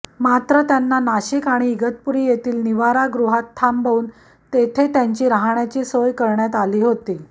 मात्र त्यांना नाशिक आणि इगतपुरी येथील निवारागृहात थांबवून तेथे त्यांची राहण्याची सोय करण्यात आली होती